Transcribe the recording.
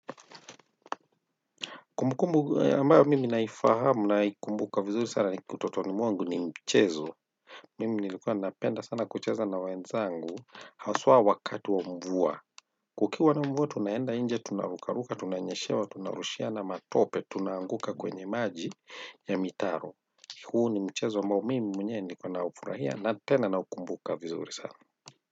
Kumbukumbu ambayo mimi naifahamu, naikumbuka sana utotoni mwangu ni mchezo. Mimi nilikuwa napenda sana kucheza na wenzangu, haswa wakati wa mvua. Kukiwa na mvua, tunaenda nje, tunarukaruka, tunanyeshewa, tunarushiana matope, tunaanguka kwenye maji ya mitaro. Huu ni mchezo ambao mimi mwenyewe nilikuwa naufurahia na tena naukumbuka vizuri sana.